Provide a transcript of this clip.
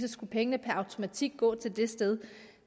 at pengene per automatik skulle gå til det sted